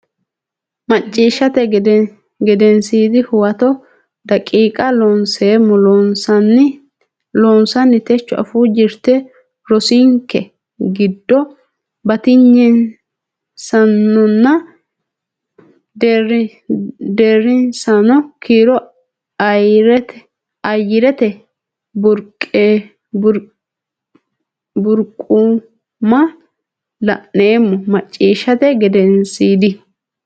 Macciishshate Gedensiidi Huwato daqiiqa Looseemmo Loossinanni Techo afuu jirte rosinke giddo batinyisaanonna deerrisaano kiiro Ayyarete Burquuqama la neemmo Macciishshate Gedensiidi.